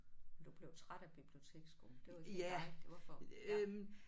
Du blev træt af biblioteksskolen det var ikke lige dig det var for ja